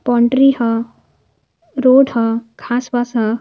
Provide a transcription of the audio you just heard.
Boundary ह road ह घास वास ह।